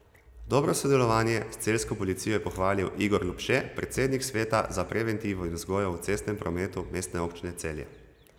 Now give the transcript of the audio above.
Dobro sodelovanje s celjsko policijo je pohvalil Igor Lupše, predsednik Sveta za preventivo in vzgojo v cestnem prometu Mestne občine Celje.